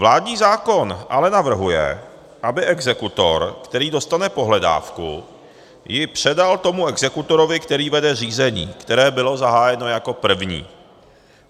Vládní zákon ale navrhuje, aby exekutor, který dostane pohledávku, ji předal tomu exekutorovi, který vede řízení, které bylo zahájeno jako první.